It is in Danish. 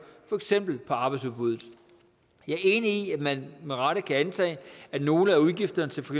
for eksempel på arbejdsudbuddet jeg er enig i at man med rette kan antage at nogle af udgifterne til for